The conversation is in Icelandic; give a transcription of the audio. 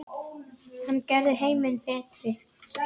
Hann gerði heiminn betri.